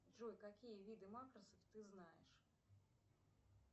джой какие виды макросов ты знаешь